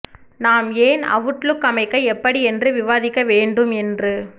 நாம் ஏன் அவுட்லுக் அமைக்க எப்படி இன்று விவாதிக்க வேண்டும் என்று